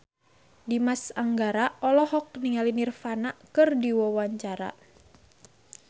Dimas Anggara olohok ningali Nirvana keur diwawancara